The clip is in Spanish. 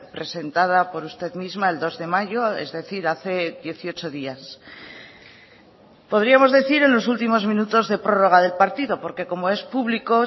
presentada por usted misma el dos de mayo es decir hace dieciocho días podríamos decir en los últimos minutos de prórroga del partido porque como es público